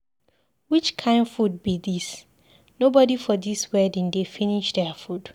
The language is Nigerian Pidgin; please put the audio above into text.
Which kin food be dis, nobody for dis wedding dey finish their food.